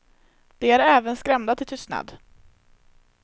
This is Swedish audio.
De är även skrämda till tystnad.